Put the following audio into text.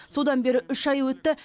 содан бері үш ай өтті